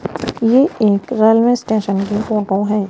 ये एक railway station की फोटो है।